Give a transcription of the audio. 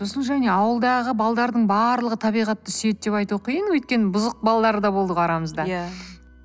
сосын және ауылдағы балалардың барлығы табиғатты сүйеді деп айту қиын өйткені бұзық балалар да болды ғой арамызда иә